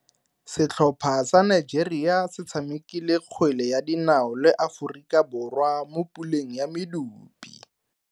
Setlhopha sa Nigeria se tshamekile kgwele ya dinao le Aforika Borwa mo puleng ya medupe.